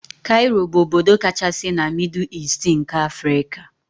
Kairo bụ obodo kachasị na mịdụ Easti nke Afrika